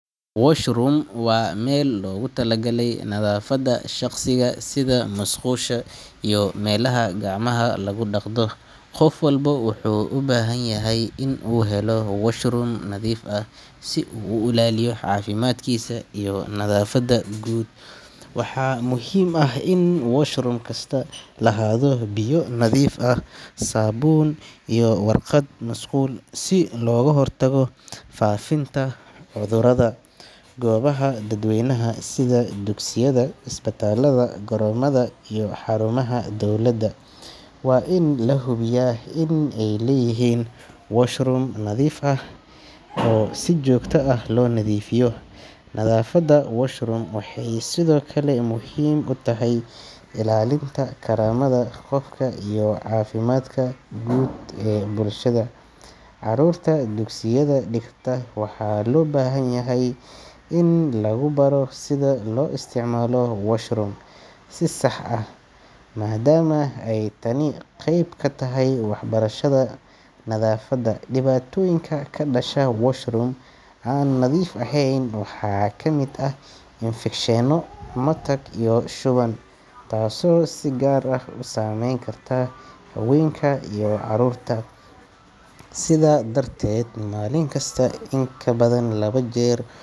Washroom waa meel loogu talagalay nadaafadda shakhsiga sida musqusha iyo meelaha gacmaha lagu dhaqdo. Qof walba wuxuu u baahan yahay in uu helo washroom nadiif ah si uu u ilaaliyo caafimaadkiisa iyo nadaafadda guud. Waxaa muhiim ah in washroom kastaa lahaado biyo nadiif ah, saabuun iyo warqad musqul si looga hortago faafitaanka cudurrada. Goobaha dadweynaha sida dugsiyada, isbitaallada, garoomada iyo xarumaha dawladda waa in la hubiyaa in ay leeyihiin washroom nadiif ah oo si joogto ah loo nadiifiyo. Nadaafadda washroom waxay sidoo kale muhiim u tahay ilaalinta karaamada qofka iyo caafimaadka guud ee bulshada. Carruurta dugsiyada dhigata waxaa loo baahan yahay in lagu baro sida loo isticmaalo washroom si sax ah, maadaama ay tani qayb ka tahay waxbarashada nadaafadda. Dhibaatooyinka ka dhasha washroom aan nadiif ahayn waxaa ka mid ah infekshanno, matag iyo shuban, taasoo si gaar ah u saameyn karta haweenka iyo carruurta. Sidaa darteed, maalin kasta in kabadan laba jeer.